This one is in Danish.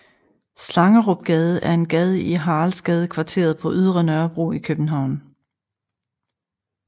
Slangerupgade er en gade i Haraldsgadekvarteret på Ydre Nørrebro i København